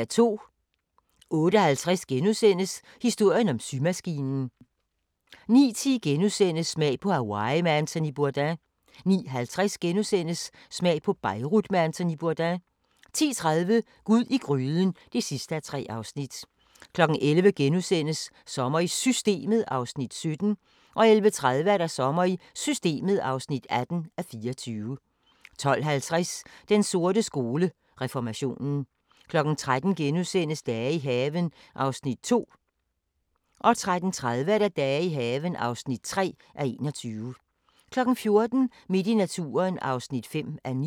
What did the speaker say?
08:50: Historien om symaskinen * 09:10: Smag på Hawaii med Anthony Bourdain * 09:50: Smag på Beirut med Anthony Bourdain * 10:30: Gud i gryden (3:3) 11:00: Sommer i Systemet (17:24)* 11:30: Sommer i Systemet (18:24) 12:50: Den sorte skole: Reformationen 13:00: Dage i haven (2:21)* 13:30: Dage i haven (3:21) 14:00: Midt i naturen (5:9)